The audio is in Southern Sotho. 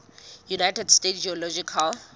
united states geological